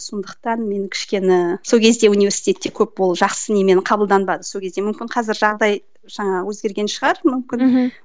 сондықтан мен кішкені сол кезде университетте көп ол жақсы немен қабылданбады сол кезде мүмкін қазір жағдай жаңағы өзгерген шығар мүмкін